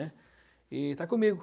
E está comigo.